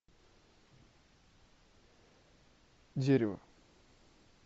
дерево